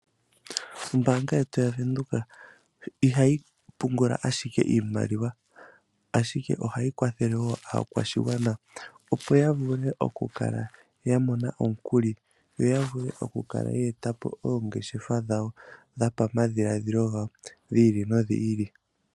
Ombanga yetu yaVenduka ihayi pungula ashike iimaliwa ashike ohayi kwathele woo aakwashigwana opo yavule okumona omukuli yo yavule okukala ya etapo oongeshefa dhawo dhopo madhiladhilo gawo dhi ili nodhi ili.